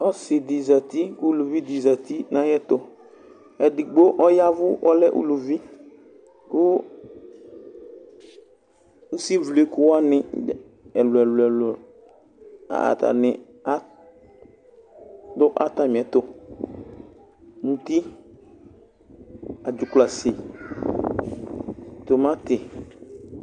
Ɔsɩ dɩ zati kʋ uluvi dɩ zati nayɛtʋEdigbo ɔyavʋ kɔlɛ uluvi kʋ usivlɩkʋ wanɩ ɛlʋɛlʋ, atanɩ adʋ atamɩɛtʋ: muti, adzuklɔasi, tʋmatɩ